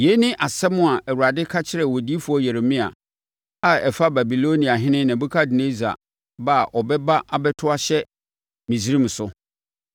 Yei ne asɛm a Awurade ka kyerɛɛ odiyifoɔ Yeremia a ɛfa Babiloniahene Nebukadnessar ba a ɔbɛba abɛto ahyɛ Misraim so: